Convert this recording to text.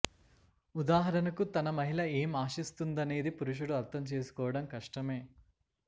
ఉదాహరణకు తన మహిళ ఏం ఆశిస్తుందనేది పురుషుడు అర్ధం చేసుకోవడం కష్టమే